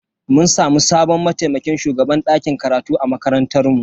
Mun samu sabon mataimakin shugaban dakin karatu a makarantar mu.